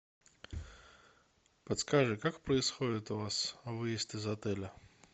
подскажи как происходит у вас выезд из отеля